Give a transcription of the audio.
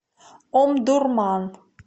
омдурман